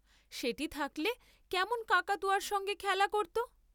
সেটি থাকলে কেমন কাকাতুয়াব সঙ্গে খেলা করত।